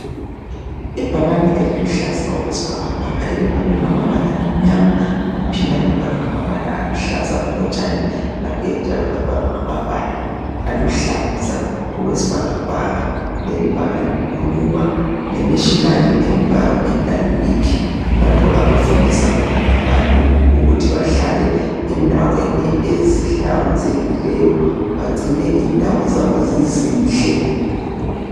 Ibhakane eliluhlaza okwesibhakabhaka elibhalwe ngamabala amnyama laphinda labhalwa ngamabala aluhlaza okotshani. Laphinda labhalwa ngamabala aluhlaza okwe sibhakabhaka leli bhakane likhuluma nge National enviromental week lapho abafundisa khona abantu ukuthi bahlale endaweni ezihlanzekileyo bagcine indawo zabo zizinhle.